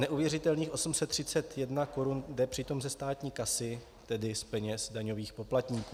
Neuvěřitelných 831 korun jde přitom ze státní kasy, tedy z peněz daňových poplatníků.